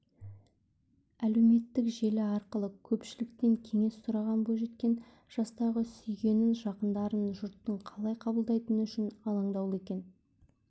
әлеуметтік желі арқылы көпшіліктен кеңес сұраған бойжеткен жастағы сүйгенін жақындарын жұрттың қалай қабылдайтыны үшін алаңдаулы екенін